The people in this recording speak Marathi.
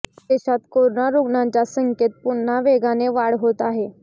देशात करोना रुग्णांच्या संख्ये पुन्हा वेगाने वाढ होत आहे